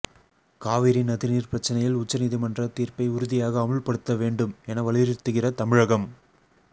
காவிரி நதி நீர் பிரச்சினையில் உச்சநீதிமன்ற தீர்ப்பை உறுதியாக அமுல்படுத்தவேண்டும் என வலியுறுத்துகிற தமிழகம்